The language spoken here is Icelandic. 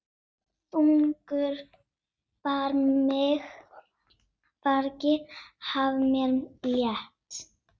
Þungu fargi af mér létt.